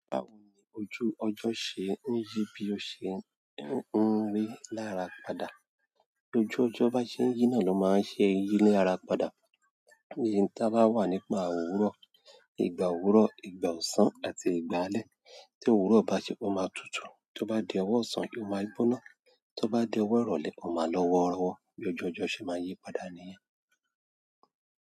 Báwo ni ojú ọjọ́ ṣe ń yí bí ó ṣe ń rí lára padà? Ojú ọjọ́ bá ṣe ń yí náà ló máa ń ṣe yí ní ara padà. Iye táa bá wà nígbà òwúrọ̀. Ìgbà òwúrọ̀, ìgbà ọ̀sán àti ìgbà alẹ́. Tí òwúrọ̀ bá ṣe, ó máa tutù. Tí ó bá di ọwọ́ ọ̀sán, ó máa gbóná. Tí ó bá di ọwọ́ ọ̀rọ̀lẹ́, ó máa lọ́wọ́rọ́wọ́. Bí ojú ọjọ́ ṣe máa yí padà nìyẹn.